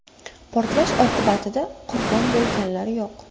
Portlash oqibatida qurbon bo‘lganlar yo‘q.